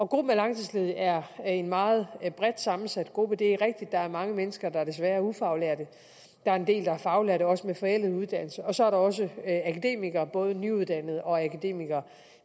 gruppen af langtidsledige er en meget bredt sammensat gruppe det er rigtigt at der er mange mennesker der desværre er ufaglærte der er en del der er faglærte også med forældet uddannelse og så er der også akademikere både nyuddannede og akademikere